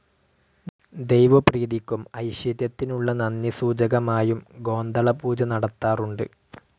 ദൈവപ്രീതിക്കും ഐശ്വര്യത്തിനുള്ള നന്ദി സൂചകമായും ഗോന്തള പൂജ നടത്താറുണ്ട്.